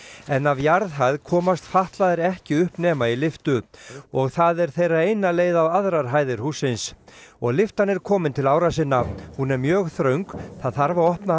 en af jarðhæð komast fatlaðir ekki upp nema í lyftu og það er þeirra eina leið á aðrar hæðir hússins og lyftan er komin til ára sinna hún er mjög þröng það þarf að opna